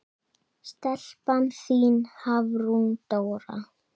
Stelpan þín, Hafrún Dóra.